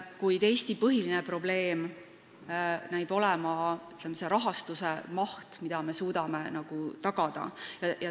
Kuid Eesti põhiline probleem näib olevat selle rahastuse maht, mida me suudame tagada.